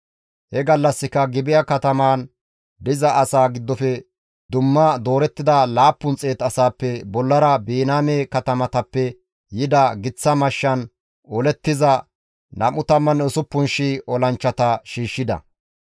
He gallassika Gibi7a katamaan diza asaa giddofe dumma doorettida 700 asaappe bollara Biniyaame katamatappe yida giththa mashshan olettiza 26,000 olanchchata shiishshida.